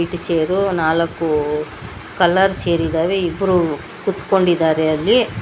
ಈ ಚೇರು ನಾಲ್ಕು ಕಲರ್ ಚೇರಿದಾವೆ ಇಬ್ರು ಕುತ್ಕೊಂಡಿದ್ದಾರೆ ಅಲ್ಲಿ.